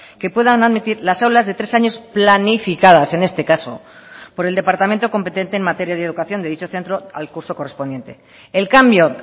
que puedan admitir las aulas de tres años planificadas en este caso por el departamento competente en materia de educación de dicho centro al curso correspondiente el cambio